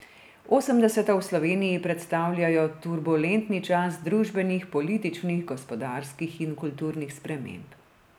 Osemdeseta v Sloveniji predstavljajo turbulentni čas družbenih, političnih, gospodarskih in kulturnih sprememb.